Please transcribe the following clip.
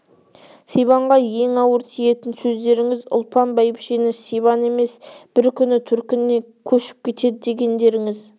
сибанға ең ауыр тиетін сөздеріңіз ұлпан бәйбішені сибан емес бір күні төркініне кешіп кетеді дегендеріңіз